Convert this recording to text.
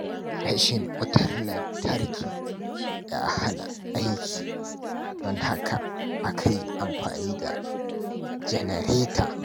Rashin wutar lantarki ya hana aiki, don haka aka yi amfani da janareta.